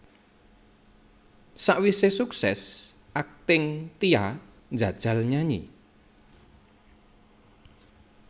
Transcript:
Sawisé sukses akting Tia njajal nyanyi